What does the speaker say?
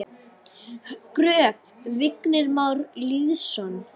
Gröf: Vignir Már Lýðsson